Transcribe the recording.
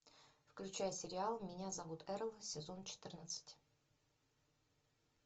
включай сериал меня зовут эрл сезон четырнадцать